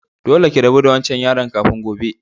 Dolle ki rabu da wancan yaron kafin gobe!